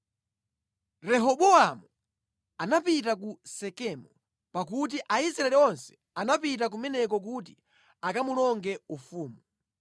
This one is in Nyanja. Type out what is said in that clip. Rehobowamu anapita ku Sekemu, pakuti Aisraeli onse anapita kumeneko kuti akamulonge ufumu.